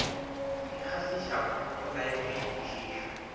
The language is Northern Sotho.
di kgahlišago go laetšwe kwešišo